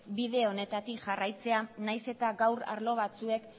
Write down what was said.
bide honetatik jarraitzea nahiz eta gaur arlo batzuek